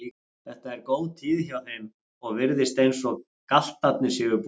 Þetta er góð tíð hjá þeim og virðist eins og galtarnir séu bústnir.